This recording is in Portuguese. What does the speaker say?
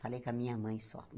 Falei com a minha mãe só.